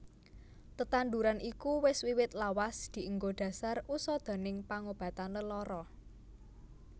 Tetanduran iku wis wiwit lawas dienggo dhasar usadaning pangobatan lelara